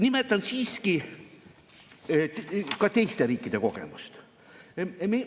Nimetan siiski ka teiste riikide kogemust.